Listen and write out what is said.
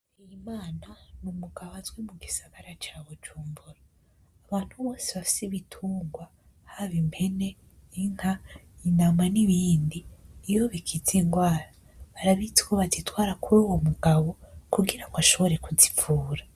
Bigirimana n'umugabo azwi mu gisagara ca bujumbura abantu bose bafise ibitungwa haba impene inka intama n'ibindi iyo bigize ingwara bazitwara kuruwo mugabo kugira ngo ashobore kuzivura.